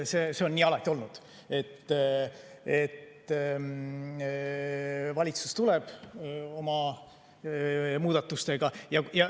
See on nii alati olnud, et valitsus tuleb oma muudatustega.